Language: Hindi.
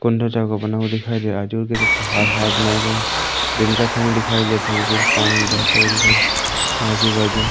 कुंडा टाइप का बना हुआ दिखाई दे रहा आजु-बाजु पहाड़-आहाड़ बनाए गए दिन का समय दिखाई देता पानी बहता हुआ दिखाई दे रहा आजू-बाजू --